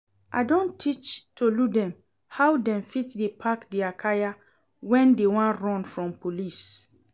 I don teach Tolu dem how dem fit dey pack dia kaya when dey wan run from police